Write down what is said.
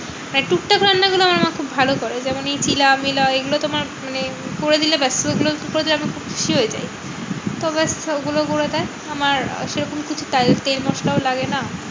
মানে টুকটাক রান্না গুলো আমার মা খুব ভালো করে। যেমন চিলা মিলা এগুলো তোমার মানে করে দিলে ব্যাস আমি খুব খুশি হয়ে যাই। তো ব্যাস সবগুলো করে দেয় আমার সেরকম কিছু তেল মশলাও লাগে না।